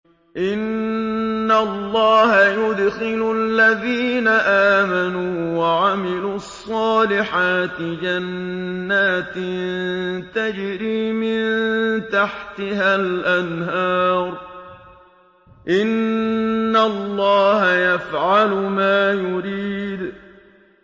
إِنَّ اللَّهَ يُدْخِلُ الَّذِينَ آمَنُوا وَعَمِلُوا الصَّالِحَاتِ جَنَّاتٍ تَجْرِي مِن تَحْتِهَا الْأَنْهَارُ ۚ إِنَّ اللَّهَ يَفْعَلُ مَا يُرِيدُ